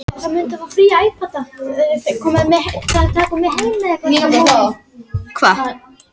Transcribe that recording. Oftast var þetta gert á hverjum degi og er talið að mörgum hafi blætt út.